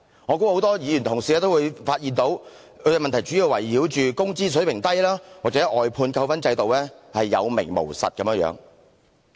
我相信很多議員同事均會發現這些問題主要關乎工資水平低或外判扣分制度有名無實的情況。